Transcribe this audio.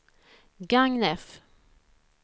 Gagnef